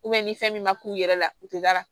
ni fɛn min ma k'u yɛrɛ la u te da